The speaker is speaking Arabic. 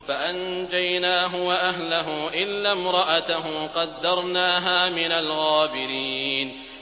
فَأَنجَيْنَاهُ وَأَهْلَهُ إِلَّا امْرَأَتَهُ قَدَّرْنَاهَا مِنَ الْغَابِرِينَ